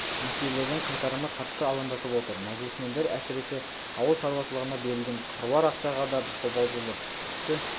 несиелердің қайтарымы қатты алаңдатып отыр мәжілісмендер әсіресе ауыл шаруашылығына берілген қыруар ақшаға да қобалжулы тіпті